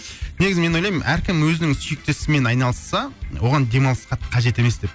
негізі мен ойлаймын әркім өзінің сүйікті ісімен айналысса оған демалыс қатты қажет емес деп